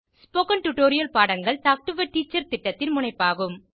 spoken tutorial பாடங்கள் talk to a teacher திட்டத்தின் முனைப்பாகும்